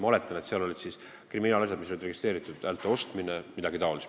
Ma oletan, et need olid registreeritud kriminaalasjad: häälte ostmine ja midagi taolist.